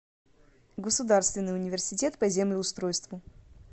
государственный университет по землеустройству